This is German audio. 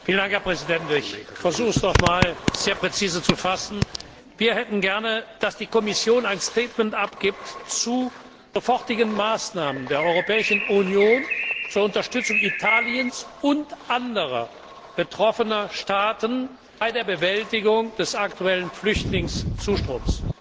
Herr Präsident! Ich versuche, es noch einmal sehr präzise zu fassen Wir hätten gerne, dass die Kommission ein abgibt zu sofortigen Maßnahmen der Europäischen Union zur Unterstützung Italiens und anderer betroffener Staaten bei der Bewältigung des aktuellen Flüchtlingszustroms.